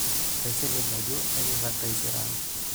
Kaisilig ajo ekirag taisere ang'.